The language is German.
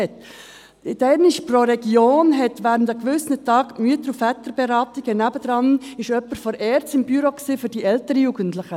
Damals war pro Region an gewissen Tagen während der Mütter- und Väterberatung jemand von der ERZ nebenan in einem Büro, für die älteren Jugendlichen.